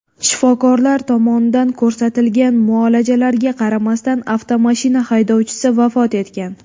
Shifokorlar tomonidan ko‘rsatilgan muolajalarga qaramasdan, avtomashina haydovchisi vafot etgan.